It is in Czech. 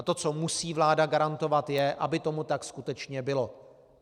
A to, co musí vláda garantovat, je, aby tomu tak skutečně bylo.